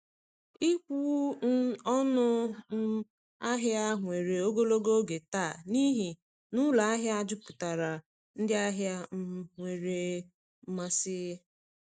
Ịkwụ um ọnụ um ahịa were ogologo oge taa n’ihi na ụlọ ahịa juputara ndị ahịa um nwere mmasị.